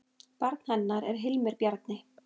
Barn hennar er Hilmir Bjarni.